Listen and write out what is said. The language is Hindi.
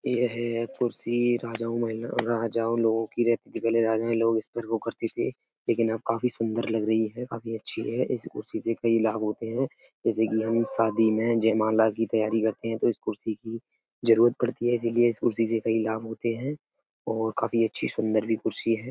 यह एक कुर्सी राजाओं महिलाओं राजाओं लोगों को रहती थी पहले राजाओं लोग इस पर वो करते है लेकिन अब काफी सुंदर लग रही है काफी अच्छी है। इस कुर्सी से कई लाभ होते है जेसे की हम शादी में जयमाला की तैयारी करते है तो इस कुर्सी की जरूरत पढ़ती है इसलिए इस कुर्सी से कई लाभ होते हैं और काफी अच्छी सुंदर भी कुर्सी है।